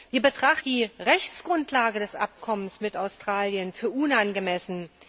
Wir betrachten die Rechtsgrundlage des Abkommens mit Australien als unangemessen.